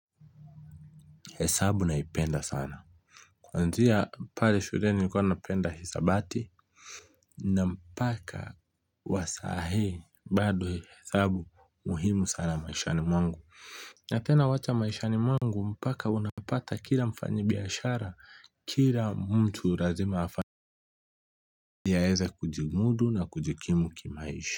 Hesabu naipenda sana kuanzia pale shuleni nilikuwa napenda hisabati na mpaka wa sahi bado hesabu muhimu sana maishani mwangu na tena wacha maishani mwangu mpaka unapata kila mfanyibiashara kila mtu lazima afani yaeze kujimudu na kujikimu kimaisha.